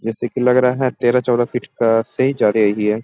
जैसे की लग रहा है तेरह-चौदा फिट से ही जा रही है।